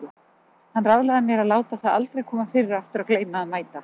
Hann ráðlagði mér að láta það aldrei koma fyrir aftur að gleyma að mæta.